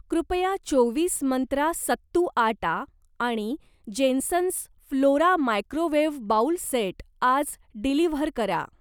कृपया चोवीस मंत्रा सत्तू आटा आणि Jensons flora microwave bowl set आज डिलिव्हर करा.